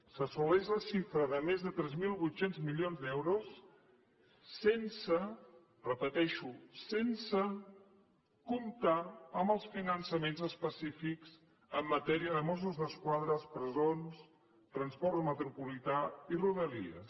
s’assoleix la xifra de més de tres mil vuit cents milions d’euros sense ho repeteixo sense comptar amb els finançaments específics en matèria de mossos d’esquadra presons transport metropolità i rodalies